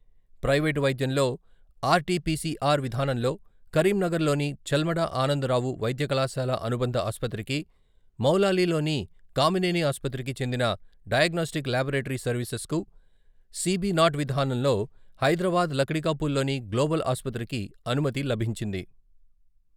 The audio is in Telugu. ప్రైవేటు వైద్యంలో ఆర్టీ పీసీఆర్ విధానంలో కరీంనగర్లోని చెల్మడ ఆనందరావు వైద్యకళాశాల అనుబంధ ఆసుపత్రికి, మౌలాలీలోని కామినేని ఆసుపత్రికి చెందిన డయాగ్నోస్టిక్ ల్యాబొరేటరీ సర్వీసెస్కు, సీబీ నాట్ విధానంలో హైదరాబాద్ లక్షీకాపూల్లోని గ్లోబల్ ఆసుపత్రికి అనుమతి లభించింది.